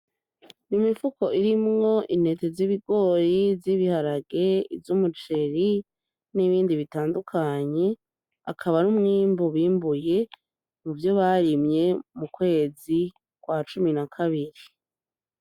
Imifuko irimwo intete z'ibigori, iz'ibiharage, iz'umuceri, n'ibindi bitandukanye. Akaba ari umwimbu bimbuye mu vyo barimye mu kwezi kwa cumi na kabiri.